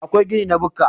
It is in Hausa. akwai gini na bukka